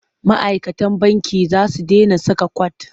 Ma'aikatan banki za su dena saka kwat.